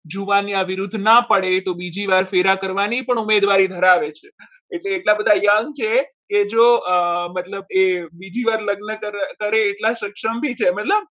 જુવાનિયા વિરુદ્ધ ન પડે તો બીજી વાર ફેરા કરવાની ઉમેદવારી ધરાવે છે એટલે એટલા બધા young છે કે જો અમ એ મતલબ એ બીજી વાર લગ્ન કરે એટલા સક્ષમ બી છે મતલબ